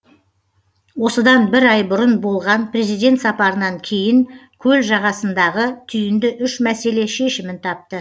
осыдан бір ай бұрын болған президент сапарынан кейін көл жағасындағы түйінді үш мәселе шешімін тапты